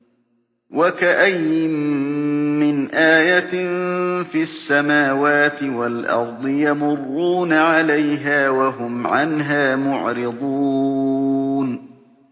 وَكَأَيِّن مِّنْ آيَةٍ فِي السَّمَاوَاتِ وَالْأَرْضِ يَمُرُّونَ عَلَيْهَا وَهُمْ عَنْهَا مُعْرِضُونَ